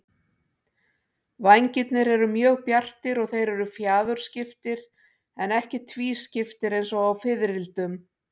Vængirnir eru mjög bjartir og þeir eru fjaðurskiptir en ekki tvískiptir eins og á fiðrildum.